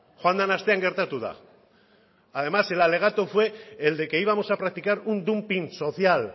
joan den astean gertatu da además el alegato fue el de que íbamos a practicar un dumping social